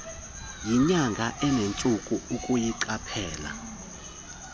yinyanga enentsuku ukuyiqaphela